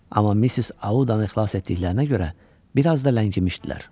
Amma Miss Audanın ixlas etdiklərinə görə bir az da ləngimişdilər.